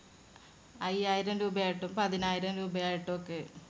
അയ്യായിരം രൂപയായിട്ടും പതിനായിരം രൂപയായിട്ടൊക്കെ